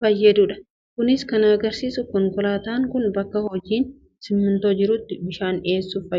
fayyadudha. Kunis kan agarsiisu konkolaataan kun bakka hojiin simmintoo jirutti bishaan dhiyeesse,